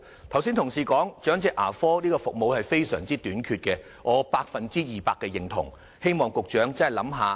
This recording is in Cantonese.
同事剛才說長者牙科服務非常短缺，我百分之二百認同，希望局長真的考慮一下。